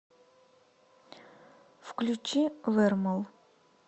включи вермол